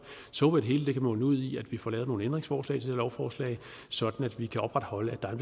så det hele kan munde ud i at vi får lavet nogle ændringsforslag til lovforslag sådan at vi kan opretholde at der er